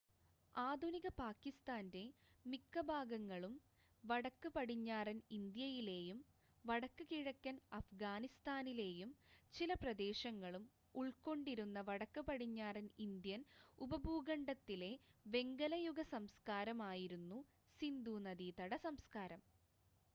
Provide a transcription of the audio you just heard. ആധുനിക പാകിസ്താൻ്റെ മിക്ക ഭാഗങ്ങളും വടക്ക് പടിഞ്ഞാറൻ ഇന്ത്യയിലെയും വടക്ക് കിഴക്കൻ അഫ്ഗാനിസ്ഥാനിലെയും ചില പ്രദേശങ്ങളും ഉൾക്കൊണ്ടിരുന്ന വടക്ക് പടിഞ്ഞാറൻ ഇന്ത്യൻ ഉപഭൂഖണ്ഡത്തിലെ വെങ്കലയുഗ സംസ്‌കാരം ആയിരുന്നു സിന്ധൂനദീതട സംസ്കാരം